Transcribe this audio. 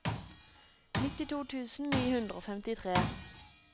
nittito tusen ni hundre og femtitre